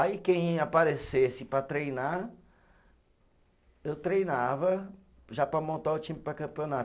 Aí quem aparecesse para treinar, eu treinava já para montar o time para campeonato.